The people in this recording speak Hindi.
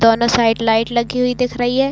दोनों साइड लाइट लगी हुई दिख रही है।